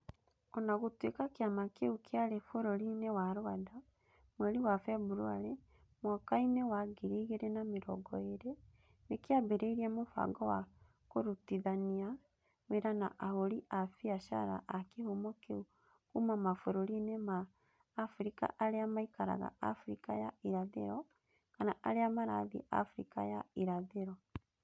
O na gũtuĩka kĩama kĩu kĩarĩ bũrũri-inĩ wa Rwanda, mweri wa Februarĩ, mwaka-ĩnĩ wa ngiri igĩrĩ na mĩrongo ĩĩrĩ, nĩ kĩambĩrĩirie mũbango wa kũrutithania wĩra na ahũri a biacara a kĩhumo kĩu kuuma mabũrũri-inĩ ma Abirika arĩa maikaraga Abirika ya Irathĩro kana arĩa marathiĩ Abirika ya Irathĩro.